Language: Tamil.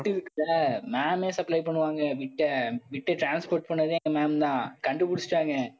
ma'am ஏ supply பண்ணுவாங்க. மிச்ச bit அ transport பண்ணதே எங்க ma'am தான் கண்டுபிடிச்சுட்டாங்க.